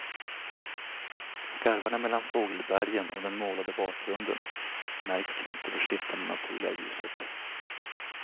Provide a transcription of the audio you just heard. Skarvarna mellan fågelbergen och den målade bakgrunden märks knappt i det skiftande naturliga ljuset.